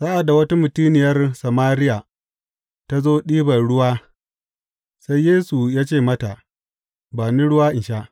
Sa’ad da wata mutuniyar Samariya ta zo ɗiban ruwa, sai Yesu ya ce mata, Ba ni ruwa in sha?